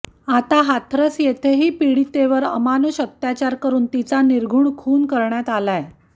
आता हाथरस येथेही पीडितेवर अमानुष अत्याचर करून तिचा निर्घुण खून करण्यात आलाय